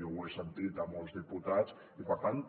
jo ho he sentit a molts diputats i per tant